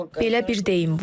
Belə bir deyim var.